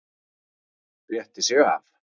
Rétti sig af.